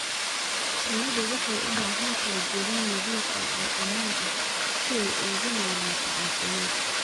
Shinnidu waxay u baahan tahay deegaan nadiif ah oo ammaan ah si ay ugu noolaato caafimaad.